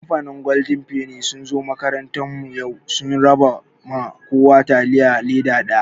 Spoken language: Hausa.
Kamfanin golden feni sun zo makarantar mu yau, sun raba ma kowa taliya leda ɗaya.